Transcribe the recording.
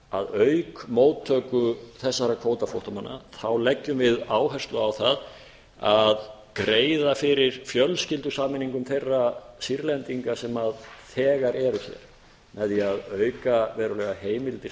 að auk móttöku þessara kvótaflóttamanna þá leggjum við áherslu á það að greiða fyrir fjölskyldusameiningum þeirra sýrlendinga sem þegar eru hér með því að auka verulega heimildir